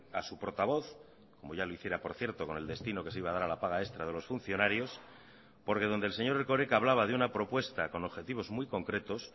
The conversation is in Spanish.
a su portavoz como ya lo hiciera por cierto con el destino que se iba a dar a la paga extra de los funcionarios porque donde el señor erkoreka hablaba de una propuesta con objetivos muy concretos